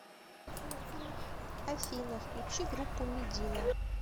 афина включи группу медина